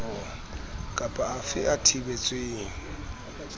kap a fe a thibetsweng